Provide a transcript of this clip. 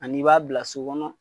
Ani i b'a bila so kɔnɔ